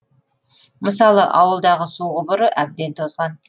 мысалы ауылдағы су құбыры әбден тозған